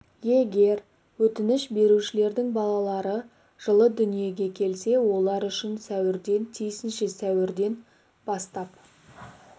егер өтініш берушілердің балалары жылы дүниеге келсе олар үшін сәуірден тиісінше сәуірден сәуірден сәуірден сәуірден бастап